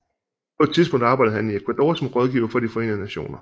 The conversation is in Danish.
På et tidspunkt arbejdede han i Ecuador som rådgiver for de Forenede Nationer